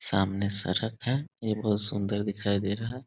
सामने सड़क है ये बहुत सुंदर दिखाई दे रहा है।